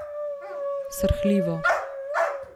Srhljivo.